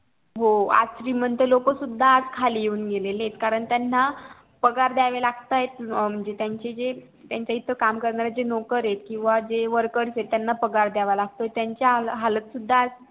हो आज श्रीमंत लोक सुद्धा आज खाली येऊन गेलेले कारण त्याना पगार दयावे लागतायत म्हणजे जे त्याच्या इथे काम करणारे जे नोकर येत किंवा जे workers येत त्याना पगार द्यावे लागतो